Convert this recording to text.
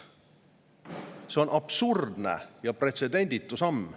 See on absurdne ja pretsedenditu samm.